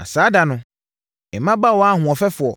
“Na saa da no “mmabaawa ahoɔfɛfoɔ